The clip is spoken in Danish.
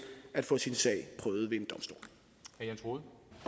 at få sin sag prøvet ved